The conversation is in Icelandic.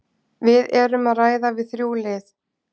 Við erum að ræða við þrjú lið.